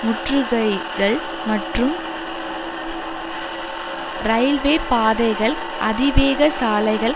முற்றுகைகள் மற்றும் ரயில்வே பாதைகள் அதிவேக சாலைகள்